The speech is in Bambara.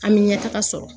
An bɛ ɲɛ taga sɔrɔ